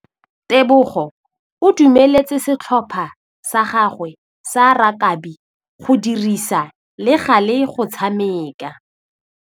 Tebogô o dumeletse setlhopha sa gagwe sa rakabi go dirisa le galê go tshameka.